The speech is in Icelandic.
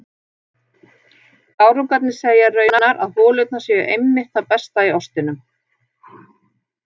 Gárungarnir segja raunar að holurnar séu einmitt það besta í ostinum.